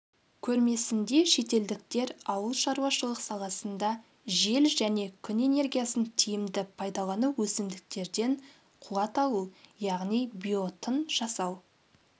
көрмесінде шетелдіктер ауылшаруашылық саласында жел және күн энергиясын тиімді пайдалану өсімдіктерден қуат алу яғни биоотын жасау